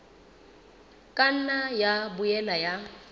ka nna ya boela ya